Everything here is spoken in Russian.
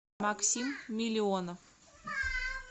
максим миллионов